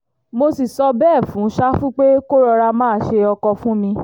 mo sì sọ bẹ́ẹ̀ fún ṣáfù pé kó rọra máa ṣe ọkọ fún mi